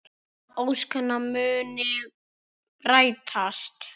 Að ósk hennar muni rætast.